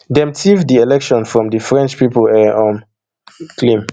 dem tiff di election from di french pipo e um claim